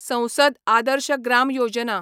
संसद आदर्श ग्राम योजना